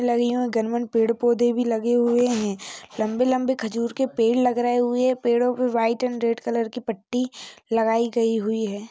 लगी हूं गांमन पेड़ पौधे भी लगे हुए हैं लंबे-लंबे खजूर के पेड़ लग रहे हुए पेड़ों पे व्हाइट एंड रेड कलर की पट्टी लगाई गई हुई है।